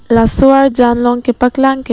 laso arjan long kepaklang ke--